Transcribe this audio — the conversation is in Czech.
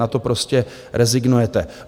Na to prostě rezignujete.